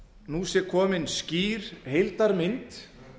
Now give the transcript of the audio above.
nú sé komin skýr heildarmynd